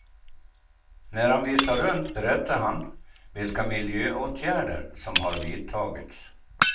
När han visar runt berättar han vilka miljöåtgärder som har vidtagits.